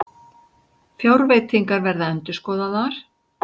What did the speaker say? Fjárveitingar verða endurskoðaðar